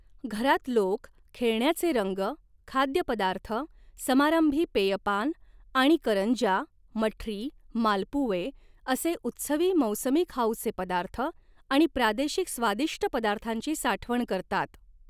घरात लोक, खेळण्याचे रंग, खाद्यपदार्थ, समारंभी पेयपान आणि करंज्या, मठरी, मालपुवे असे उत्सवी मौसमी खाऊचे पदार्थ आणि प्रादेशिक स्वादिष्ट पदार्थांची साठवण करतात.